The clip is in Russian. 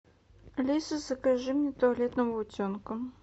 алиса закажи мне туалетного утенка